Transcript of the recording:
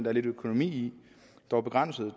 er lidt økonomi i dog begrænset